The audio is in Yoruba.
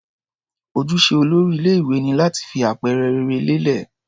Ojúṣe olórí ilé-ìwé ni láti fi àpẹẹrẹ rere lélẹ̀.